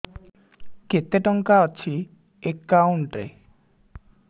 କେତେ ଟଙ୍କା ଅଛି ଏକାଉଣ୍ଟ୍ ରେ